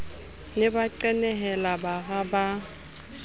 ne ba qenehela bara ba